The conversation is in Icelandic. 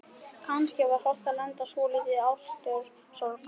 Kannski var hollt að lenda í svolítilli ástarsorg.